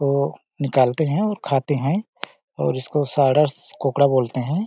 वो निकालते है और खाते है और इस को सारस कोकड़ा बोलते है।